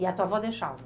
E a tua avó deixava?